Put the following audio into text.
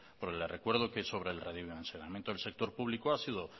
porque le recuerdo que sobre el redimensionamiento del sector público ha sido